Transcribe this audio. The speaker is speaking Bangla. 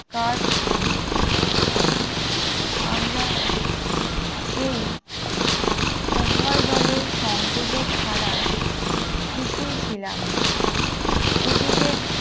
কাজ করিয়াছিলাম আমরা এ উভয় দলের সংযোজক দ্বারা কিছুই ছিলাম না এযুগে